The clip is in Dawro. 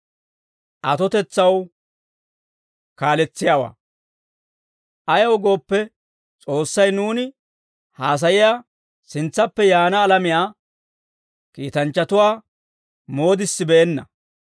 Ayaw gooppe, S'oossay nuuni haasayiyaa sintsaappe yaana alamiyaa, kiitanchchatuwaa moodissibeenna.